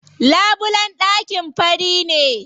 Labulen ɗakin fari ne.